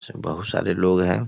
जो बहोत सारे लोग हैं |